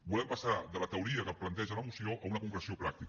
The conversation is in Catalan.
volem passar de la teoria que planteja la moció a una concreció pràctica